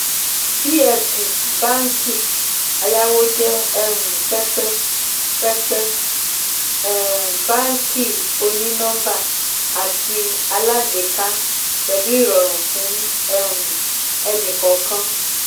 vfd báàǹkì ayáwó jẹ um pẹpẹ pẹpẹ um báàǹkì òní-nọ́ḿbà àti alágbèéká pẹlu ìrọ̀rùn fún um ẹnì-kọ̀ọ̀kan.